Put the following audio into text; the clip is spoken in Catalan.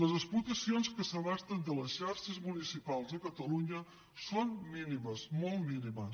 les explotacions que s’abasten de les xarxes municipals de catalunya són mínimes molt mínimes